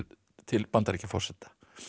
til Bandaríkjaforseta